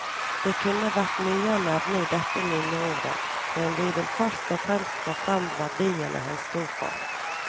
Det kunne vært mye å nevne i dette minneordet, men vi vil først og fremst få frem verdiene han sto for.